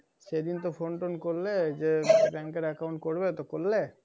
সেদিন তো phone টোন করলে যে bank এর account করবে। তো করলে?